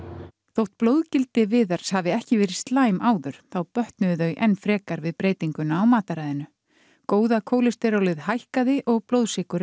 þó að blóðgildi Viðars hafi ekki verið slæm áður þá bötnuðu þau enn frekar við breytinguna á mataræðinu góða kólesterólið hækkaði og blóðsykurinn